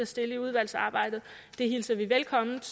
stille i udvalgsarbejdet det hilser vi velkomment